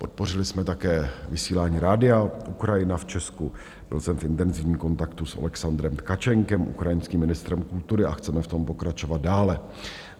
Podpořili jsme také vysílání Radia Ukrajina v Česku, byl jsem v intenzivním kontaktu s Oleksandrem Tkačenkem, ukrajinským ministrem kultury, a chceme v tom pokračovat dále.